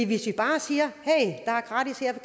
hvis vi bare siger